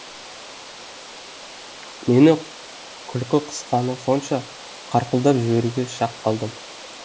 мені күлкі қысқаны сонша қарқылдап жіберуге шақ қалдым